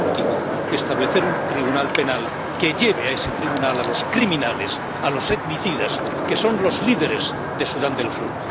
Y por último, establecer un tribunal penal que lleve a ese tribunal a los criminales, a los etnocidas, que son los líderes de Sudán del Sur.